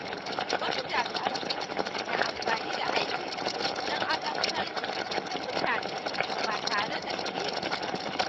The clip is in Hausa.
Wasu jami’an tsaro na amfani da aikinsu don azabtar da mutane ba tare da dalili ba.